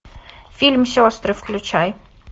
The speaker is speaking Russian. фильм сестры включай